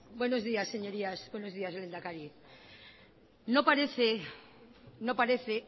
buenos días señorías buenos días lehendakari no parece no parece